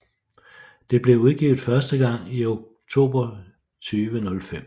Det blev udgivet første gang i oktober 2005